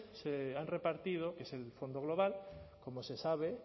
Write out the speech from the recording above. se han repartido que es el fondo global como se sabe